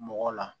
Mɔgɔ la